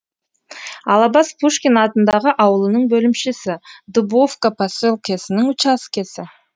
алабас пушкин атындағы ауылының бөлімшесі дубовка поселкесінің учаскесі